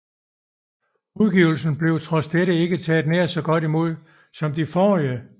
Udgivelsen blev trods dette ikke taget nær så godt imod som de forrige